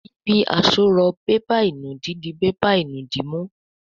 Ibi àsorọ̀ bébà ìnùdí dì bébà ìnùdí mú.